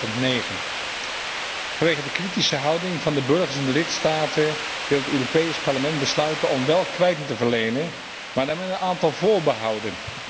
2009. Vanwege de kritische houding van de burgers in de lidstaten wil het Europees Parlement besluiten om wel kwijting te verlenen, maar dan met een aantal voorbehouden.